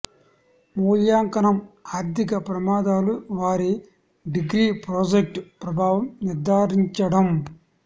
మూల్యాంకనం ఆర్థిక ప్రమాదాలు వారి డిగ్రీ ప్రాజెక్ట్ ప్రభావం నిర్దారించడం